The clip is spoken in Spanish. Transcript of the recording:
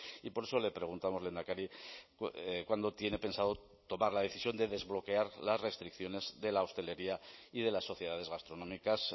y por eso le preguntamos lehendakari cuándo tiene pensado tomar la decisión de desbloquear las restricciones de la hostelería y de las sociedades gastronómicas